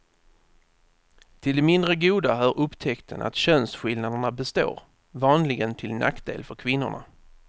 Till det mindre goda hör upptäckten att könsskillnaderna består, vanligen till nackdel för kvinnorna.